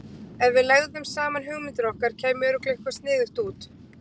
Ef við legðum saman hugmyndir okkar, kæmi örugglega eitthvað sniðugt út.